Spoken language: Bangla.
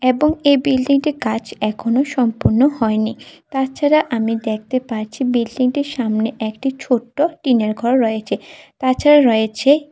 এবং এ বিল্ডিংটি কাজ এখনো সম্পূর্ণ হয়নি তাছাড়া আমি দেখতে পারছি বিল্ডিংটির সামনে একটি ছোট্ট টিনের ঘর রয়েচে তাছাড়া রয়েছে--